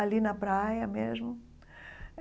ali na praia mesmo.